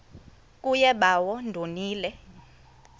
kuye bawo ndonile